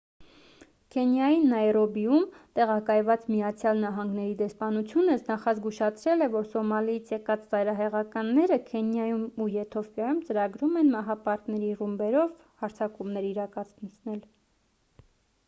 քենիայի նայրոբիում տեղակայված միացյալ նահանգների դեսպանությունը նախազգուշացրել է որ․«սոմալիից եկած ծայրահեղականները» քենիայում ու եթովպիայում ծրագրում են մահապարտների ռումբերով հարձակումներ իրականացնել։